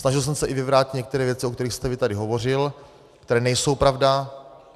Snažil jsem se i vyvrátit některé věci, o kterých jste tady vy hovořil, které nejsou pravda.